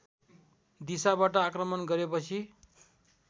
दिसाबाट आक्रमण गरेपछि